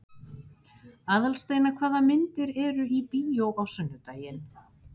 Aðalsteina, hvaða myndir eru í bíó á sunnudaginn?